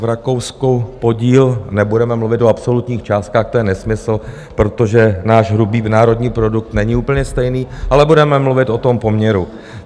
V Rakousku podíl - nebudeme mluvit o absolutních částkách, to je nesmysl, protože náš hrubý národní produkt není úplně stejný, ale budeme mluvit o tom poměru.